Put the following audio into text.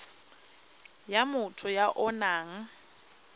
ya motho ya o nang